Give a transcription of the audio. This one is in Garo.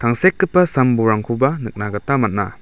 tangsekgipa sam bolrangkoba nikna gita man·a.